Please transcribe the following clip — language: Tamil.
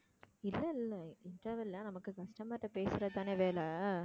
இல்லை இல்லை interval ல நமக்கு customer ட்ட பேசறதுதானே வேலை